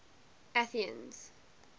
athenians